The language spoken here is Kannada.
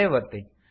ಸೇವ್ ಒತ್ತಿ